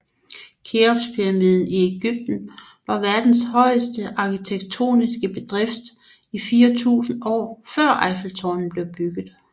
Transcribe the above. Keopspyramiden i Egypten var verdens højeste arkitektoniske bedrift i 4000 år før Eiffeltårnet blev bygget